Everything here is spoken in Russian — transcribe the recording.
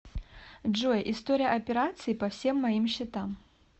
джой история операций по всем моим счетам